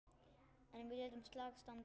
En við létum slag standa.